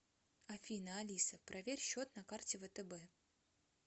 афина алиса проверь счет на карте втб